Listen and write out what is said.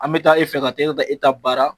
An taa e fɛ ka taa e ta e ta baara